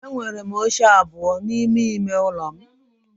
Enwere m oche abụọ n'ime ime ụlọ m